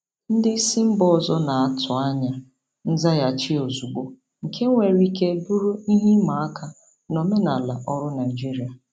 Ndị isi mba ọzọ na-atụ anya nzaghachi ozugbo, nke nwere ike bụrụ ihe ịma aka na omenala ọrụ Naijiria.